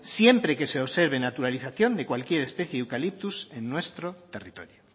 siempre que se observen naturalización de cualquier especie de eucalipto en nuestro territorio